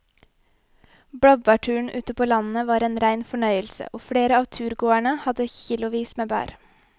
Blåbærturen ute på landet var en rein fornøyelse og flere av turgåerene hadde kilosvis med bær.